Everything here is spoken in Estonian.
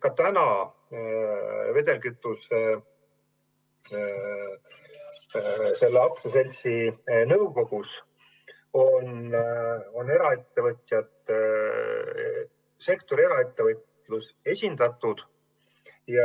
Ka praegu on selle aktsiaseltsi nõukogus eraettevõtjad, sektori eraettevõtlus esindatud.